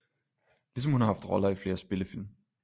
Ligesom hun har haft roller i flere spillefilm